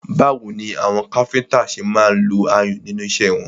Báwo ni àwọn káfíńńtà ṣe máa ń lo ayùn nínú iṣẹ́ wọn?